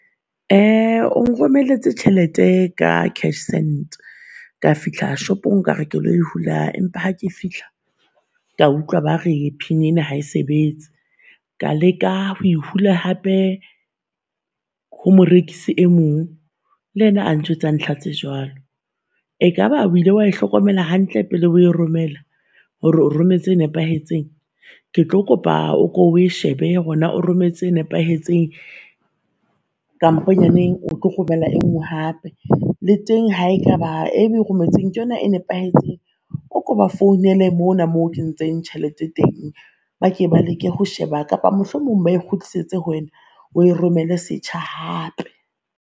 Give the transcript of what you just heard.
Uh o nromelletse tjhelete ka cashsend ka fihla shopong ka re ke lo e hula, empa ha ke fihla ka utlwa ba re pin ena ha e sebetse. Ka leka ho e hula hape ho morekisi e mong le yena a njwetsa ntlha tse jwalo. Ekaba o ile wa e hlokomela hantle pele o e romela, hore o rometse e nepahetseng? Ke tlo kopa o ko o e shebe hore naa o rometse e nepahetseng, kamponyaneng o tlo kgopela e nngwe hape. Le teng ha ekaba e o e rometseng ke yona e nepahetseng o ko ba founele mona mo o kentseng tjhelete teng, ba ke ba leke ho sheba kapa mohlomong ba e kgutlisetse ho wena o e romele setjha hape.